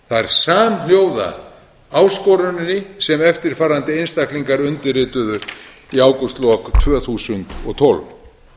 samhljóða áskoruninni sem eftirfarandi einstaklingar undirrituðu í ágústlok tvö þúsund og tólf